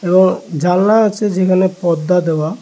এবং জানলা আছে যেখানে পদ্দা দেওয়া--